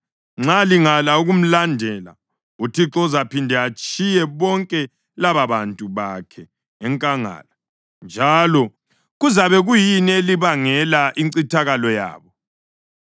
Nxa lingala ukumlandela, uThixo uzaphinde atshiye bonke lababantu bakhe enkangala, njalo kuzabe kuyini elibangele incithakalo yabo.”